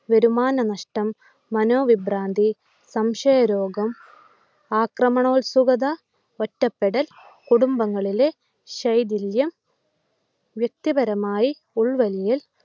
വരുമാന നഷ്ടം, മനോവിഭ്രാന്തി, സംശയരോഗം, ആക്രമണോത്സുകത, ഒറ്റപ്പെടൽ, കുടുംബങ്ങളിലെ ശൈഥില്യം, വ്യക്തിപരമായി ഉൾവലിയൽ